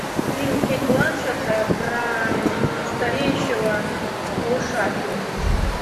фильм кейт бланшетт про стареющего малыша фильм